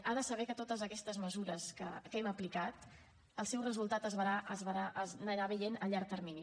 ha de saber que de totes aquestes mesures que hem aplicat el seu resultat s’anirà veient a llarg termini